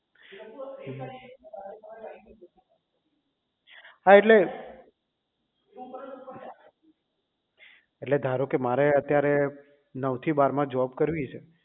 હા એટલે એટલે ધારો કે મારે અત્યારે નવ થી બાર માં જોબ કરવી છે